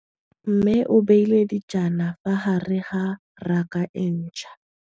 Mmê o beile dijana ka fa gare ga raka e ntšha.